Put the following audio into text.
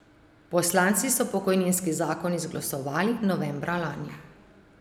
Poslanci so pokojninski zakon izglasovali novembra lani.